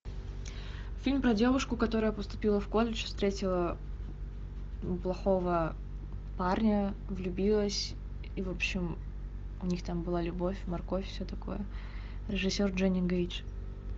фильм про девушку которая поступила в колледж встретила плохого парня влюбилась и в общем у них там была любовь морковь все такое режиссер дженни гейдж